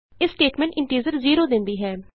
ਇਹ statement integer zero ਦੇਂਦੀ ਹੈ